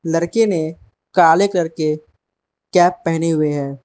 लड़के ने काले कलर के कैप पहने हुए है।